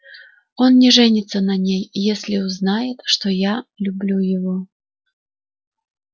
он не женится на ней если узнает что я люблю его